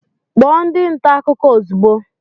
Kpọọ ndị nta akụkọ ozugbo